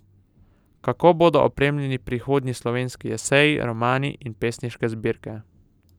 Kako bodo opremljeni prihodnji slovenski eseji, romani in pesniške zbirke?